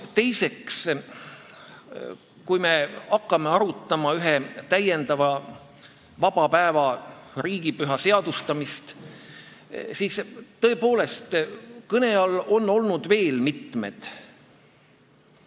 Teiseks, kui me hakkame arutama ühe täiendava vaba päeva, riigipüha seadustamist, siis on tõepoolest nii, et kõne all on olnud veel mitmed pühad.